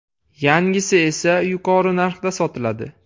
Yangisi esa yuqori narxda sotiladi.